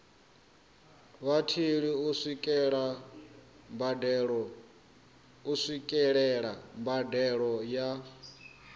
vhatheli u swikelela mbadelo ya